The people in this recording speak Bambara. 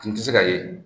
Tun tɛ se ka ye